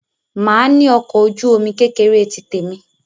Màá ní ọkọ̀ ojú-omi kékeré tí tèmi.